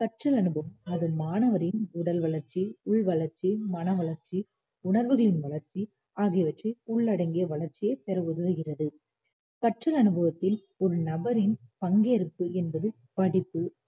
கற்றல், அனுபவம் அது மாணவரின் உடல் வளர்ச்சி, உள் வளர்ச்சி, மன வளர்ச்சி, உணர்வுகளின் வளர்ச்சி ஆகியவற்றை உள்ளடங்கிய வளர்ச்சியைப் பெற உதவுகிறது கற்றல் அனுபவத்தில் ஒரு நபரின் பங்கேற்பு என்பது படிப்பு